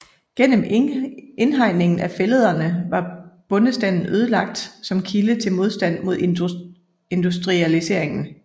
Gennem indhegningen af fællederne var bondestanden ødelagt som kilde til modstand mod industrialisering